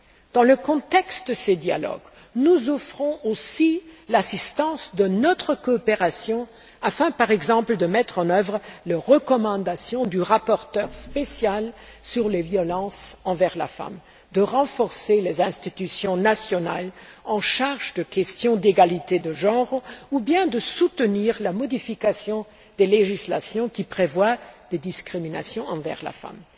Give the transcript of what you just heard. Dans le contexte de ces dialogues, nous offrons aussi l'assistance de notre coopération afin, par exemple, de mettre en œuvre les recommandations du rapporteur spécial sur la violence contre les femmes, de renforcer les institutions nationales en charge des questions d'égalité des genres ou bien de soutenir la modification des législations qui prévoient des discriminations envers les femmes.